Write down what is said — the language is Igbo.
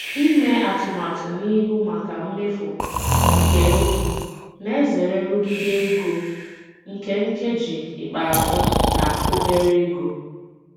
Ịme atụmatụ n'ihu maka mmefu nke oge na-ezere nrụgide ego nke nkeji ikpeazụ na obere ego.